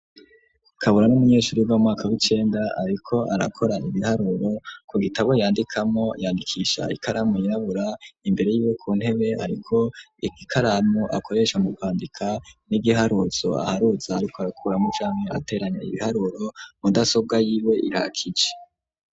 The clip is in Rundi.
Kabura n'umunyeshure y'amwaka w'ikenda ariko arakora ibiharuro ku gitabo yandikamo yandikisha ikaramu irabura imbere yiwe ku ntebe ariko ikaramu akoresha mu kwandika n'igiharutso aharutza ariko arakuramo ijami ateranya ibiharuro mudasobwa y'iwe irakije.